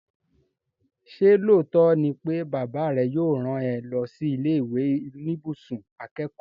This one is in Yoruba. Ṣé lóòótọ́ ni pé bàbá rẹ yóò rán ẹ lọ sí ilé ìwé oníbùsùn akẹ́kọ̀ọ́?